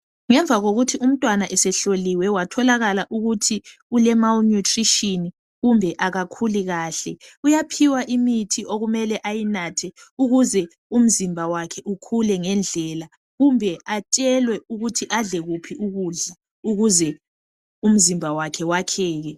Ngemva kokuthi umntwana esehloliwe watholakala ukuthi ule malnutrition kumbe akakhuli kahle uyaphiwa imithi okumele ayinathe ukuze umzimba wakhe ukhule ngendlela kumbe atshelwe ukuthi adle kuphi ukudla ukuze umzimba wakhe wakheke.